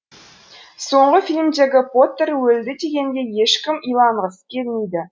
соңғы фильмдегі поттер өлді дегенге ешкім иланғысы келмейді